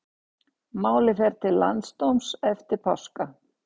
Málið fer til landsdóms eftir páska